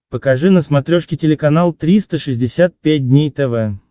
покажи на смотрешке телеканал триста шестьдесят пять дней тв